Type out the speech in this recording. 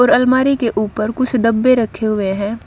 और अलमारी के ऊपर कुछ डब्बे रखे हुए है।